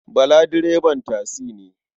Bala direban tasi ne.